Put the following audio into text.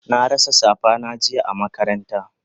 Na rasa safa na jiya a makaranta